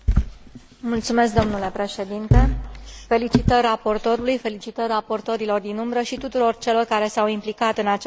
Felicitări raportorului, felicitări raportorilor din umbră și tuturor celor care s au implicat în acest proiect deosebit de important pentru viitorul PAC.